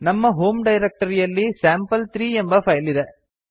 ನಮ್ಮ ಹೋಮ್ ಡೈರಕ್ಟರಿಯಲ್ಲಿ ಸ್ಯಾಂಪಲ್3 ಎಂಬ ಫೈಲ್ ಇದೆ